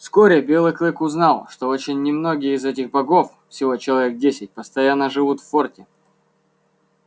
вскоре белый клык узнал что очень немногие из этих богов всего человек десять постоянно живут в форте